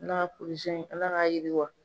Ala ka ala ka yiriwa.